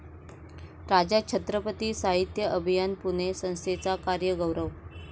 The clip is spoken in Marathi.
राजा छत्रपती साहित्य अभियान पुणे संस्थेचा कार्यगौरव